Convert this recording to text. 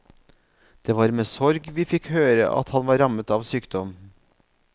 Det var med sorg vi fikk høre at han var rammet av sykdom.